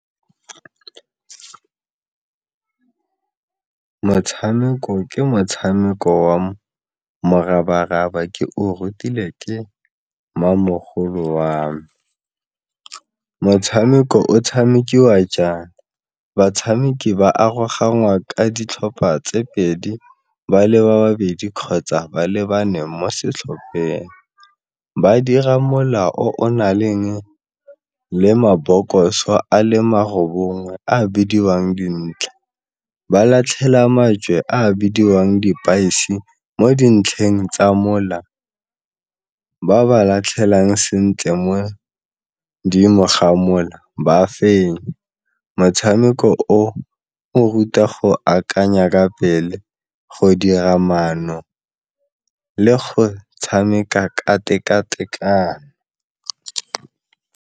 Motshameko ke motshameko wa morabaraba ke o rutilwe ke mmamogolo wa me. Motshameko o tshamekiwa jang, batshameki ba aroganngwa ka ditlhopha tse pedi ba leba babedi kgotsa ba le bane mo setlhopheng, ba dira mola o o na le le mabokoso a le mararo bongwe a bidiwang ba latlhela majwe a bidiwang mo dintlheng tsa mola, ba ba latlhelang sentle mo godimo ga mola ba fenya. Motshameko o o ruta go akanya ka pele go dira maano le go tshameka ka teka-tekano.